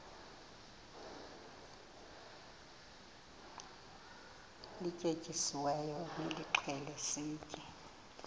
lityetyisiweyo nilixhele sitye